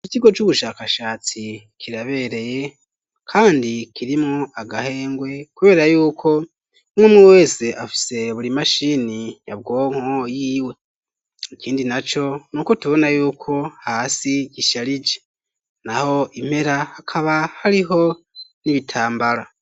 Ikigo c'ubushakashatsi kirabereye kandi kirimwo agahengwe kubera yuko umwemwe wese afise buri mashini nyabwonko yiwe ikindi naco n'uko tubona yuko hasi gisharije naho impera akaba hariho n'ibitambara.